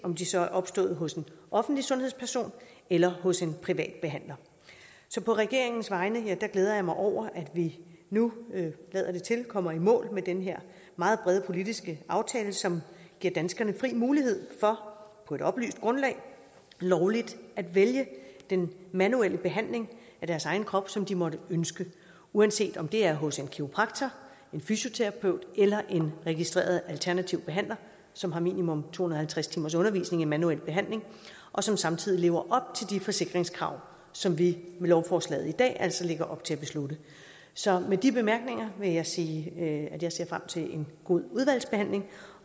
om de så er opstået hos en offentlig sundhedsperson eller hos en privat behandler så på regeringens vegne glæder jeg mig over at vi nu lader det til kommer i mål med den her meget brede politiske aftale som giver danskerne fri mulighed for på et oplyst grundlag lovligt at vælge den manuelle behandling af deres egen krop som de måtte ønske uanset om det er hos en kiropraktor en fysioterapeut eller en registreret alternativ behandler som har minimum to hundrede og halvtreds timers undervisning i manuel behandling og som samtidig lever op til de forsikringskrav som vi med lovforslaget i dag altså lægger op til at beslutte så med de bemærkninger vil jeg sige at jeg ser frem til en god udvalgsbehandling